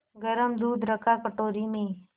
गरम दूध रखा कटोरी में